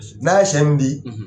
N'a ye se min di